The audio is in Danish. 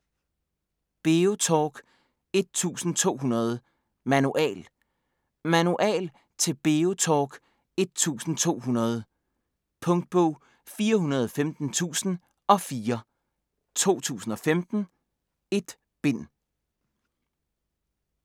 BeoTalk 1200: Manual Manual til BeoTalk 1200. Punktbog 415004 2015. 1 bind.